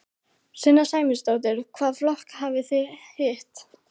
Sunna Sæmundsdóttir: Hvaða flokka hafið þið hitt?